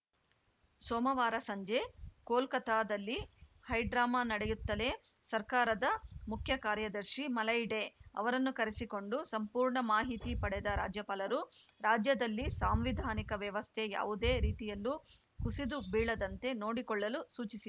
ಸೋಮವಾರ ಸಂಜೆ ಕೋಲ್ಕತಾದಲ್ಲಿ ಹೈಡ್ರಾಮಾ ನಡೆಯುತ್ತಲೇ ಸರ್ಕಾರದ ಮುಖ್ಯಕಾರ್ಯದರ್ಶಿ ಮಲಯ್‌ ಡೇ ಅವರನ್ನು ಕರೆಸಿಕೊಂಡು ಸಂಪೂರ್ಣ ಮಾಹಿತಿ ಪಡೆದ ರಾಜ್ಯಪಾಲರು ರಾಜ್ಯದಲ್ಲಿ ಸಾಂವಿಧಾನಿಕ ವ್ಯವಸ್ಥೆ ಯಾವುದೇ ರೀತಿಯಲ್ಲೂ ಕುಸಿದು ಬೀಳದಂತೆ ನೋಡಿಕೊಳ್ಳಲು ಸೂಚಿಸಿ